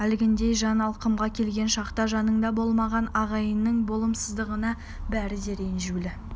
әлгіндей жан алқымға келген шақта жанында болмаған ағайынның болымсыздығына бәрі де ренжулі